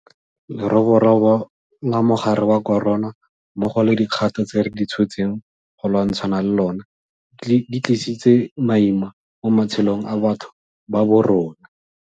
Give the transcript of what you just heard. Leroborobo la mogare wa corona mmogo le dikgato tse re di tshotseng go lwantshana le lona di tlisitse maima mo matshelong a batho ba borona.